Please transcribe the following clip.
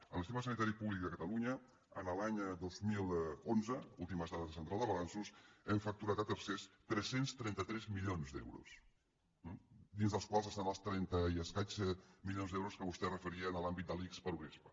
en el sistema sanitari públic de catalunya l’any dos mil onze últimes dades de central de balanços hem facturat a tercers tres cents i trenta tres milions d’euros dins dels quals hi ha els trenta i escaig milions d’euros a què vostè es referia en l’àmbit de l’ics per unespa